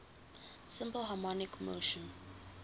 simple harmonic motion